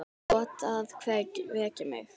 Þú átt að vekja mig.